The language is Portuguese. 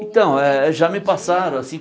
Então, já me passaram assim.